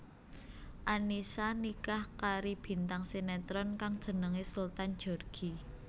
Annisa nikah kari bintang sinetron kang jenengé Sultan Djorghi